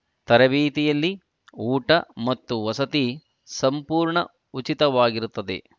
ತರಬೇತಿಯಲ್ಲಿ ಊಟ ಮತ್ತು ವಸತಿ ಸಂಪೂರ್ಣ ಉಚಿತವಾಗಿರುತ್ತದೆ